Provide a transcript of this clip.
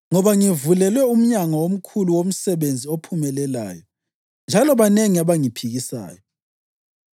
ngoba ngivulelwe umnyango omkhulu womsebenzi ophumelelayo, njalo banengi abangiphikisayo.